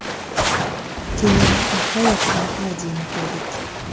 Keyin nihoyat uni tarjima qildik.